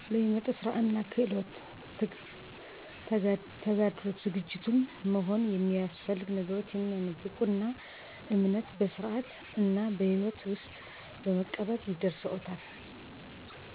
በህይወት ክህሎት ውስጥ ራሴን ብቁ አድርጎኛል ራሴን ለስራ ዝግጁ እንድሆን አድርጎኛል